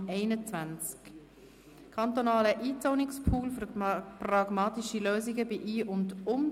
«Kantonaler Einzonungspool für pragmatische Lösungen bei Ein- und Umzonungen».